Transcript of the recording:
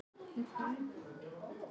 Vilt þú sjá stjörnuleik í enska boltanum?